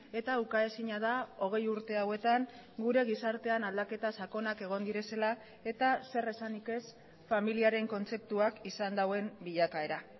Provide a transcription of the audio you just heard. eta ukaezina da hogei urte hauetan gure gizartean aldaketa sakonak egon direla eta zer esanik ez familiaren kontzeptuak izan duen bilakaera